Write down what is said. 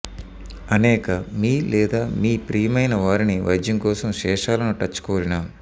అనేక మీ లేదా మీ ప్రియమైన వారిని వైద్యం కోసం శేషాలను టచ్ కోరిన